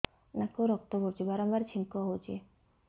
ନାକରୁ ରକ୍ତ ପଡୁଛି ବାରମ୍ବାର ଛିଙ୍କ ହଉଚି